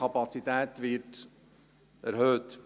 Die Kapazität wird erhöht.